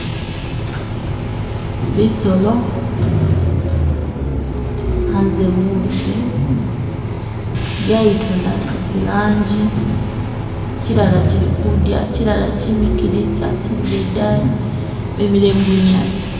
Bisolo, hanze musi byayitona zilangi chilala chili kudya chilala kyimikile kyasilile idayi bimile mubunyasi